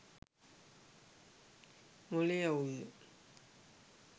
මොලේ අවුල්ද